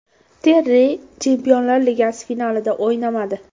Terri Chempionlar Ligasi finalida o‘ynamadi.